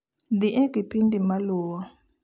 Dhi e kipindi maluwo